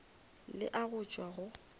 le a go tšwa go